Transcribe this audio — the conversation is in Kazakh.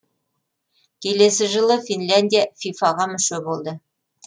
келесі жылы финляндия фифа ға мүше болды